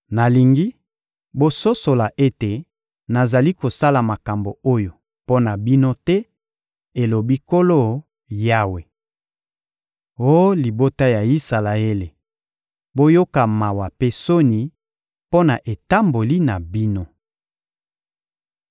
Nalingi bososola ete nazali kosala makambo oyo mpo na bino te, elobi Nkolo Yawe! Oh libota ya Isalaele, boyoka mawa mpe soni mpo na etamboli na bino!